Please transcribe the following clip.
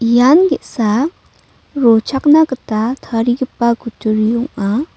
ian ge·sa rochakna gita tarigipa kutturi ong·a.